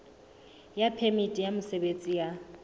ya phemiti ya mosebetsi ya